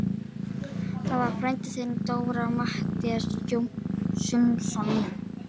Það var frændi þinn, Dóra, Matthías Jochumsson.